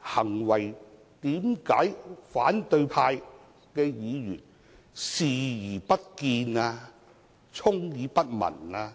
行為，為何反對派議員視而不見、充耳不聞呢？